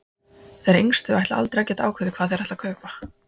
Þeir yngstu ætla aldrei að geta ákveðið hvað þeir ætla að kaupa.